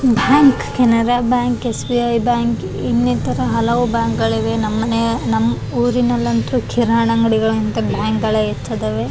Bank Canara bank S B I bank ಇನ್ನಿತರ ಹಲವು bank ಗಳಿವೆ ನಮ್ಮ್ ಮನೆ ನಮ್ಮ್ ಊರಿನಲ್ಲಂತು ಬ್ಯಾಂಕ್ ಗಳ ಹೆಚ್ಚಿದಾವೆ.